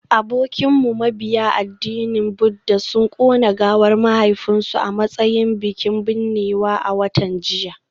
Abokinmu mabiya addinin Buddah sun kona gawar mahaifinsu a matsayin bikin binnewa a watan jiya